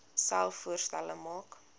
selfs voorstelle maak